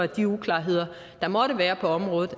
de uklarheder der måtte være på området